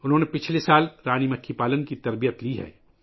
انہوں نے گزشتہ سال رانی مکھی پالنے کی تربیت لی ہے